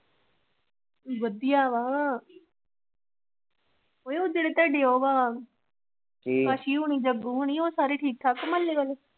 ਵਧੀਆ ਵਾ ਓਹੇ ਉਹ ਜਿਹੜੇ ਤੁਹਾਡੇ ਉਹ ਆ ਕੀ ਅਸੀ ਹੁਣੀ ਜੱਗੀ ਹੁਣੀ ਉਹ ਸੱਭ ਠੀਕ ਮਹੱਲੇ ਵਾਲੇ?